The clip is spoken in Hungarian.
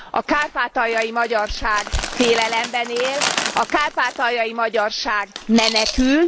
A kárpátaljai magyarság félelemben él, a kárpátaljai magyarság menekül.